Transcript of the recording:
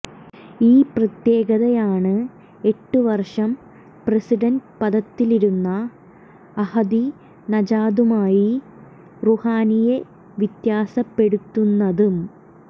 ഈ പ്രത്യേകതയാണ് എട്ട് വര്ഷം പ്രസിഡന്റ്പദത്തിലിരുന്ന അഹ്മദി നജാദുമായി റൂഹാനിയെ വ്യത്യാസപ്പെടുത്തുനന്നതും